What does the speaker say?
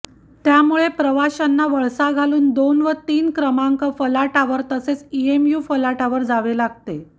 त्यामुळे प्रवाशांना वळसा घालून दोन व तीन क्रमांक फलाटावर तसेच ईएमयू फलाटावर जावे लागते